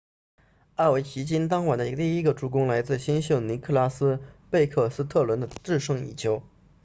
奥韦奇金 ovechkin 当晚的第一个助攻来自新秀尼克拉斯贝克斯特伦 nicklas backstrom 的制胜一球